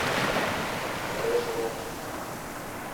фреш рум